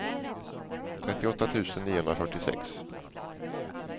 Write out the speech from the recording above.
trettioåtta tusen niohundrafyrtiosex